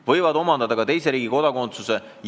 – võivad omandada ka teise riigi kodakondsuse.